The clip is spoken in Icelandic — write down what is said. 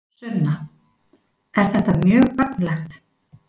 Sunna: Er þetta mjög gagnlegt?